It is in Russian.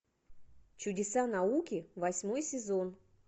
чудеса науки восьмой сезон